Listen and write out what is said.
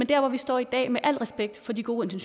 der hvor vi står i dag med al respekt for de gode